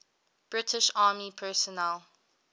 british army personnel